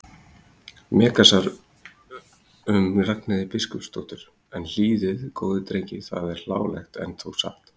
Megasar um Ragnheiði biskupsdóttur: en hlýðið góðir drengir það er hlálegt en þó satt.